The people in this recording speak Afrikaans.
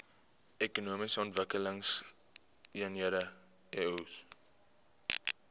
ekonomiese ontwikkelingseenhede eoes